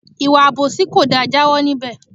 Ìwà àbòsí kò da, jawo níbè!